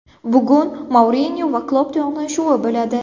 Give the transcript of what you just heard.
Bugun Mourinyo va Klopp to‘qnashuvi bo‘ladi.